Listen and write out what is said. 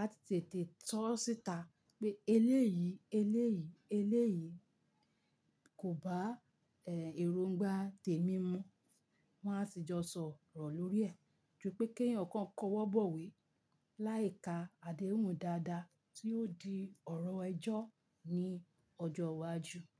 a ti tètè tọ́ síta pé eléyìí, eléyìí, eléyìí kò bá èròngbà tèmi mu. Wọ́n á sì jọ sọ̀rọ̀ lórí ẹ̀. Ju pẹ́ kí èèyàn kan kọ́wọ́ bọ̀wé láì ka àdéhùn dáadáa tí yóò di ọ̀rọ̀ ẹjọ́ ní ọjọ́ iwájú.